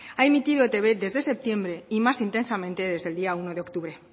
ha emitido etb desde septiembre y más intensamente desde el día uno de octubre